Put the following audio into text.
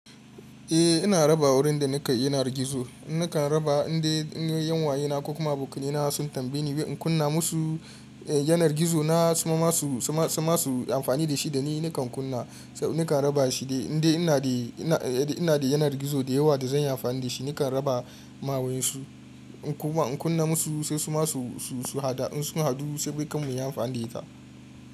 Eh ina raba wurin da nika yanar gizo, nakan raba indai yan wayena kuma abokanai na sun tambaye ni in kunna musu yanar gizo na suma su ma su amfani da shi dani nakan kunna nakan raba shi inda ina da yanar gizo da yawa da zan yi amfani da shi nakan raba ma wayansu kuma in kunna musu sai su ma su hada in sun hadu sai bai kam mu yi amfani da ita.